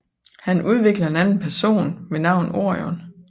Han udvikler en anden person ved navn Orion